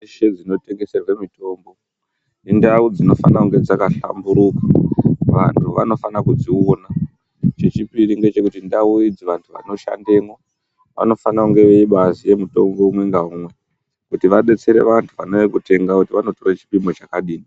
Ndau dzese dzinotengeserwa mitombo indau dzinofanha dzakahlamburika vantu vanofana kudziona. Chechipiri ngechekuti ndau idzi vantu vanoshanda mwo vanofana kuziya mitombo umwe ngaumwe kuti vadetsere vantu vanouya kutenga kuti vanopuwa chipimo chakadini.